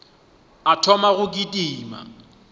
a thoma go kitima ka